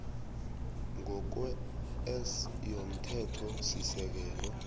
ngokwe s yomthethosisekelo